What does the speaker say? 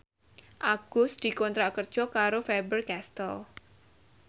Agus dikontrak kerja karo Faber Castel